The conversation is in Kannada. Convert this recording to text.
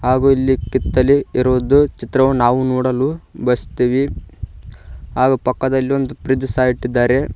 ಹಾಗೂ ಇಲ್ಲಿ ಕಿತ್ತಲೀ ಇರುವುದು ಚಿತ್ರವನ್ನು ನಾವು ನೋಡಲು ಬಯಸುತ್ತೇವೆ ಹಾಗೂ ಪಕ್ಕದಲ್ಲಿ ಒಂದು ಫ್ರಿಡ್ಜ್ ಸಹ ಇಟ್ಟಿದ್ದಾರೆ.